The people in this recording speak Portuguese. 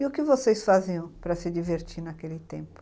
E o que vocês faziam para se divertir naquele tempo?